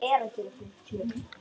Þetta hafði verið góð vika.